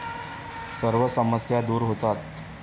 सर्व समस्या दूर होतात.